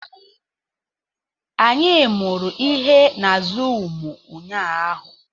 Anyị mụrụ ihe na zụụmu ụnyaahụ